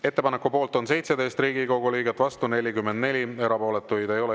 Ettepaneku poolt on 17 Riigikogu liiget, vastu 44, erapooletuid ei ole.